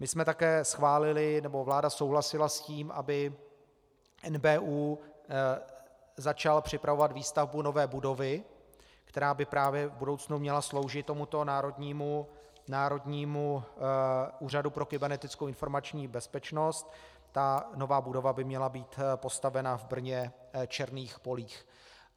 My jsme také schválili, nebo vláda souhlasila s tím, aby NBÚ začal připravovat výstavbu nové budovy, která by právě v budoucnu měla sloužit tomuto Národnímu úřadu pro kybernetickou informační bezpečnost, ta nová budova by měla být postavena v Brně - Černých polích.